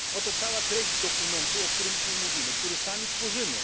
Oto cała treść dokumentu, o którym dzisiaj mówimy, który sami tworzymy.